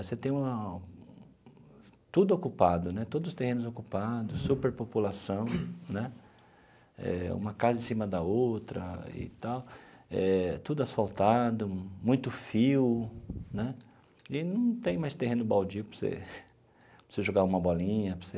Você tem uma tudo ocupado né, todos os terrenos ocupados, superpopulação né, eh uma casa em cima da outra e tal, eh tudo asfaltado, muito fio né e não tem mais terreno baldio para você você jogar uma bolinha, para você...